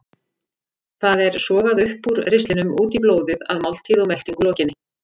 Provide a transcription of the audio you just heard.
Það er sogað upp úr ristlinum út í blóðið að máltíð og meltingu lokinni.